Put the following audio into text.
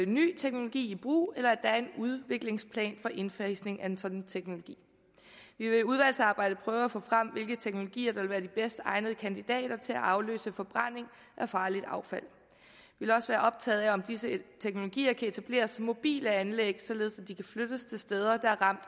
ny teknologi i brug eller at der er en udviklingsplan for indfasning af en sådan teknologi vi vil i udvalgsarbejdet prøve at få frem hvilke teknologier der vil være de bedst egnede kandidater til at afløse forbrænding af farligt affald vi vil også være optaget af om disse teknologier kan etableres som mobile anlæg således at de kan flyttes til steder der er ramt